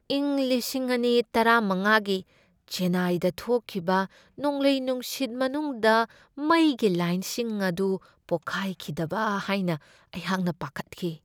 ꯏꯪ ꯂꯤꯁꯤꯡ ꯑꯅꯤ ꯇꯔꯥꯃꯉꯥꯒꯤ ꯆꯦꯟꯅꯥꯏꯗ ꯊꯣꯛꯈꯤꯕ ꯅꯣꯡꯂꯩ ꯅꯨꯡꯁꯤꯠ ꯃꯅꯨꯡꯗ ꯃꯩꯒꯤ ꯂꯥꯏꯟꯁꯤꯡ ꯑꯗꯨ ꯄꯣꯈꯥꯏꯈꯤꯗꯕ ꯍꯥꯏꯅ ꯑꯩꯍꯥꯛꯅ ꯄꯥꯈꯠꯈꯤ꯫